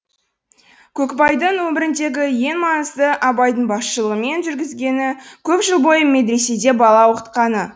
көкбайдың өміріндегі ең маңызды абайдың басшылығымен жүргізгені көп жыл бойы медреседе бала оқытқаны